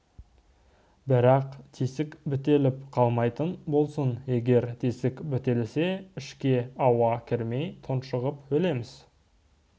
бірақ тесік бітеліп қалмайтын болсын егер тесік бітелсе ішке ауа кірмей тұншығып өлеміз